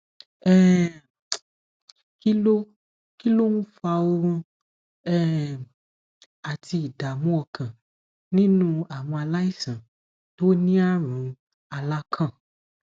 um kí ló kí ló ń fa oorun um àti ìdààmú ọkàn nínú àwọn aláìsàn tó ní àrùn alakan